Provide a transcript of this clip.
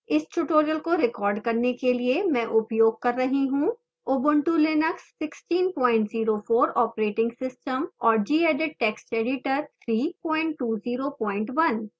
इस tutorial को record करने के लिए मैं उपयोग कर रही हूँ ubuntu linux 1604 operating system और gedit text editor 3201